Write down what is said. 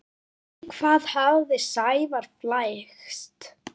Í hvað hafði Sævar flækst?